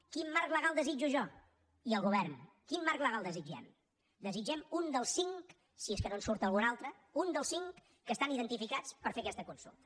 quin marc legal desitjo jo i el govern quin marc legal desitgem en desitgem un dels cinc si és que no en surt algun altre que estan identificats per fer aquesta consulta